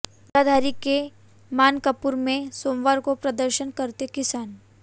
जगाधरी के मानकपुर में सोमवार को प्रदर्शन करते किसान